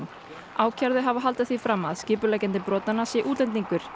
ákærðu hafa haldið því fram að skipuleggjandi brotanna sé útlendingur